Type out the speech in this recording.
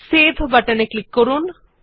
save button এ click করুন